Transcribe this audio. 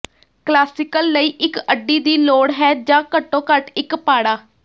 classical ਲਈ ਇੱਕ ਅੱਡੀ ਦੀ ਲੋੜ ਹੈ ਜਾਂ ਘੱਟੋ ਘੱਟ ਇੱਕ ਪਾੜਾ